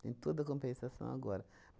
Tem toda a compensação agora.